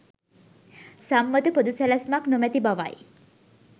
සම්මත පොදු සැලැස්මක් නොමැති බවයි